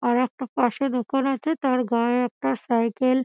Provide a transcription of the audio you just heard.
আর একটা পাশে দোকান আছে তার গায়ে একটা সাইকেল --